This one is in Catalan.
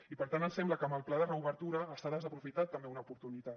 i per tant ens sembla que amb el pla de reobertura s’ha desaprofitat també una oportunitat